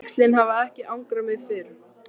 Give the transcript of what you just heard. Þrengslin hafa ekki angrað mig fyrr.